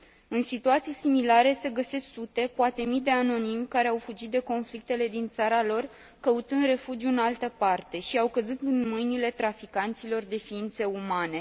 În situații similare se găsesc sute, poate mii de anonimi care au fugit de conflictele din țara lor, căutând refugiu în altă parte și au căzut în mâinile traficanților de ființe umane.